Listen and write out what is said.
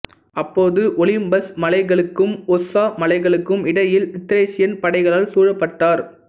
அப்பொழுது ஒலிம்பஸ் மலைகளுக்கும் ஒஸ்ஸா மலைகளுக்கும் இடையில் த்ரேசியன் படைகளால் சூழபட்டார்